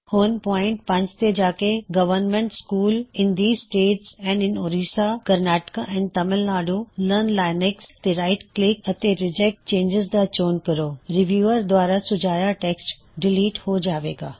ਹੁਣ ਪੌਇਨਟ 5 ਤੇ ਜਾ ਕੇ ਗਵਰਨਮੈਏਟ schools in ਦ3ਜ਼ ਸਟੇਟ੍ਸ and in ਔਰੀੱਸਾ Karnataka and Tamil Nadu learn Linux government schools in these status and in ਓਰਿਸਾ Karnataka and Tamil Nadu learn Linux ਤੇ right click ਅਤੇ reject changes ਦਾ ਚੋਣ ਕਰੋ